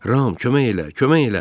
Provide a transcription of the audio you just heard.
Ram, kömək elə, kömək elə!